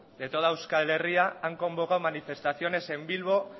de toda euskal herria han convocado manifestaciones en bilbo